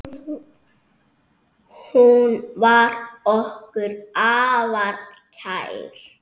Hún var okkur afar kær.